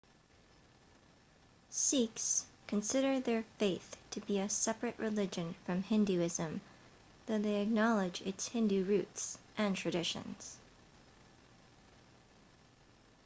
sikhs consider their faith to be a separate religion from hinduism though they acknowledge its hindu roots and traditions